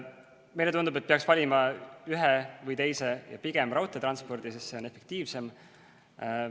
Meile tundub, et peaks valima ühe või teise ja pigem raudteetranspordi, sest see on efektiivsem.